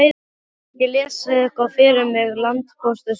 Geturðu ekki lesið eitthvað fyrir mig, landpóstur, sagði afi.